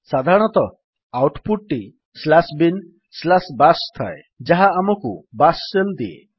ସାଧାରଣତଃ output ଟି binbash ଥାଏ ଯାହା ଆମକୁ ବାଶ୍ ଶେଲ୍ ଦିଏ